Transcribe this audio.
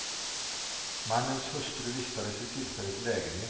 Mannens hustru vistades vid tillfället i lägenheten.